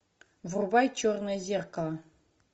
врубай черное зеркало